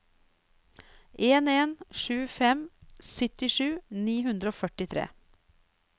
en en sju fem syttisju ni hundre og førtitre